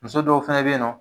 Muso dɔw fɛnɛ be yen nɔ